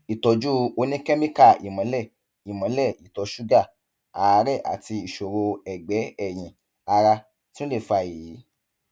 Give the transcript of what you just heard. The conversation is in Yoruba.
ìtọjú oníkẹmíkà ìmọlẹ ìmọlẹ ìtọ ṣúgà àárẹ àti ìṣòro ẹgbẹ ẹyìn ara tún lè fa èyí